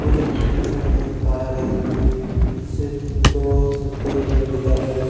वो जो पहाड़ है इसमें सिर्फ दो से तीन पेड़ दिखाई दे रहे हैं |